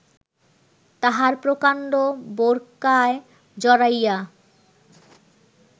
তাঁহার প্রকাণ্ড বোরকায় জড়াইয়া